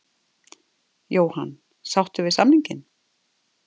Jóhann: Sáttur við samninginn?